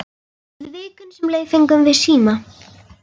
Í vikunni sem leið fengum við síma.